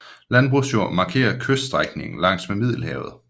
Landbrugsjord markerer kyststrækningen langs med Middelhavet